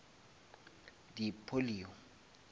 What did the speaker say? di polio